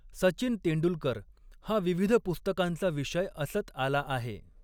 सचिन तेंडुलकर हा विविध पुस्तकांचा विषय असत आला आहे.